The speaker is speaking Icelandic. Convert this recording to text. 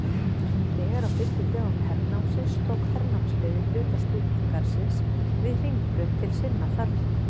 Þegar á fyrstu dögum hernámsins tók hernámsliðið hluta stúdentagarðsins við Hringbraut til sinna þarfa.